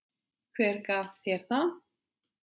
Hver gaf þér það?